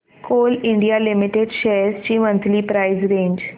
Coal India Limited shares ची monthly price range